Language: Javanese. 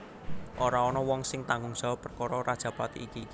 Ora ana wong sing tanggung jawab perkara rajapati iki